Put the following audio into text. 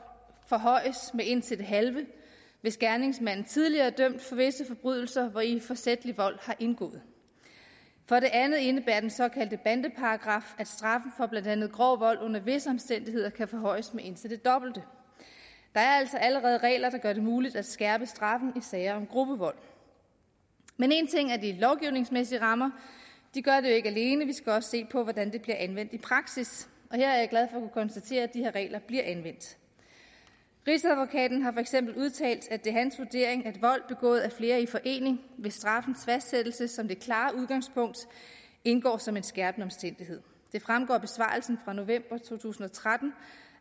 forhøjes med indtil det halve hvis gerningsmanden tidligere er dømt for visse forbrydelser hvori forsætlig vold har indgået for det andet indebærer den såkaldte bandeparagraf at straffen for blandt andet grov vold under visse omstændigheder kan forhøjes med indtil det dobbelte der er altså allerede regler der gør det muligt at skærpe straffen sager om gruppevold men én ting er de lovgivningsmæssige rammer de gør det jo ikke alene vi skal også se på hvordan de bliver anvendt i praksis og konstatere at de her regler bliver anvendt rigsadvokaten har for eksempel udtalt at det er hans vurdering at vold begået af flere i forening ved straffens fastsættelse som det klare udgangspunkt indgår som en skærpende omstændighed det fremgår af besvarelsen fra november to tusind og tretten